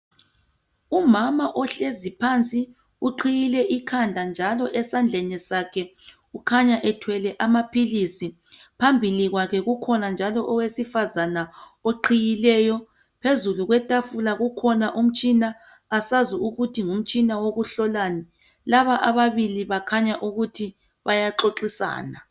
Umama ohlezi phansi uqhiyile ikhanda njalo esandleni sakhe kukhanya ethwele amaphilisi phambili kwakhe kukhona njalo owesifazana oqhiyileyo phezulu kwetafula kukhona umtshina asazi ukuthi ngumtshina wokuhlolanikukhanya ukuthi bayaxoxisana.